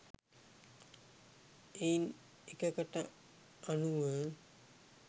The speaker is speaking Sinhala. එයින් එකකට අනුව